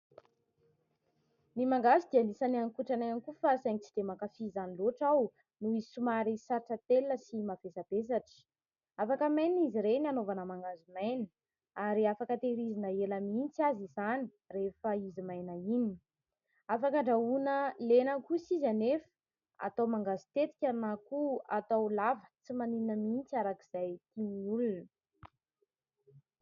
Ny mangahazo dia anisan'ny haninkotrana ihany koa fa saingy tsy dia mankafy izany loatra aho noho izy somary sarotra atelina sy mavesabesatra. Afaka hamainina izy ireny anaovana mangahazo maina ary afaka tehirizina ela mihitsy aza izany rehefa izy maina iny. Afaka andrahoina lena kosa izy anefa, atao mangahazo tetika na koa atao lava. Tsy maninona mihitsy araka izay tian'ny olona.